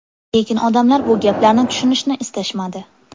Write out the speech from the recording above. Lekin odamlar bu gaplarni tushunishni istashmadi.